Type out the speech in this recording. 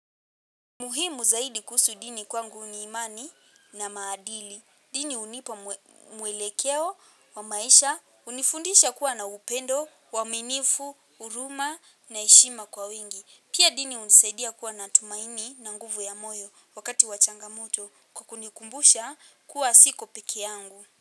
Muhimu zaidi kuhusu dini kwangu ni imani na maadili. Dini hunipa mwelekeo, wa maisha, hunifundisha kuwa na upendo, uaminifu, huruma na heshima kwa wingi. Pia dini hunisaidia kuwa na tumaini na nguvu ya moyo wakati wa changamoto kwa kunikumbusha kuwa siko pekee yangu.